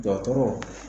Dɔgɔtɔrɔ